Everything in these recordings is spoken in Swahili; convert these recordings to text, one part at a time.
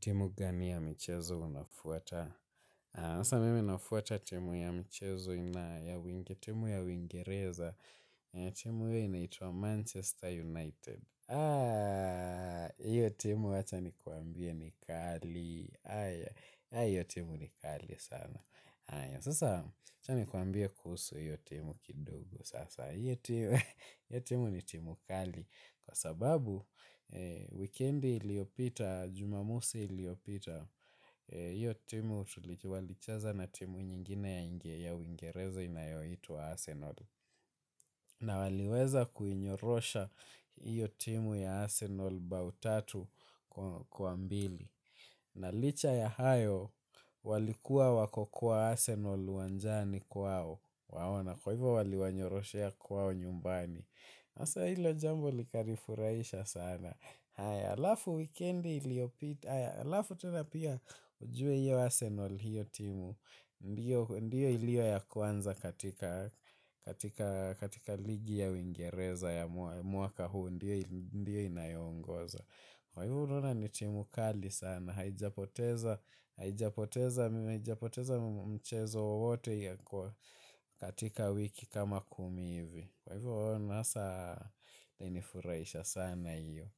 Timu gani ya mchezo unafuata? Sasa mimi nafuata timu ya mchezo inayo wingi, timu ya wingereza. Timu hio inaitwa Manchester United. Hiyo timu wacha ni kuambie ni kali. Aya, hiyo timu ni kali sana. Aya, sasa acha ni kuambie kuhusu hiyo timu kidogo. Sasa, iyo timu ni timu kali. Kwa sababu, wikendi iliopita, jumamosi iliopita, iyo timu, walicheza na timu nyingine ya wingereza inayoitwa Arsenal. Na waliweza kuinyorosha iyo timu ya Arsenal bao tatu kwa mbili. Na licha ya hayo, walikuwa wako kwa Arsenal wanjani kwao. Wao na kwa hivyo waliwanyoroshea kwao nyumbani. Sasa hilo jambo likani furahisha sana. Haya, alafu wikendi iliopita. Haya, alafu tena pia ujue hiyo Arsenal hiyo timu. Ndiyo iliyo ya kwanza katika ligi ya uingereza ya mwaka huu. Ndiyo inayo ongoza. Kwa hivo unaona ni timu kali sana. Haijapoteza mchezo wowote katika wiki kama kumi hivi. Kwa hivyo hayo sasa ilinifurahisha sana iyo.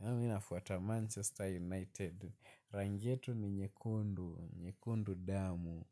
Naam mimi nafuata Manchester United. Rangi yetu ni nyekundu nyekundu damu.